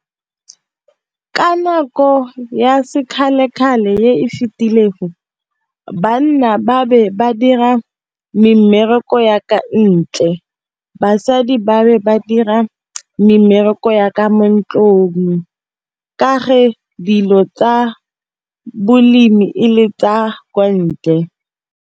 Ka nako ya sekgale-kgale e e fitileng go banna ba be ba dira mmereko ya kwa ntle, basadi ba bangwe ba dira mmereko ya ka mo ntlong. Ka dilo tsa bolemi e le tsa kwa ntle.